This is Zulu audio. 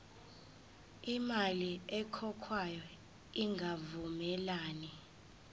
imali ekhokhwayo ingavumelani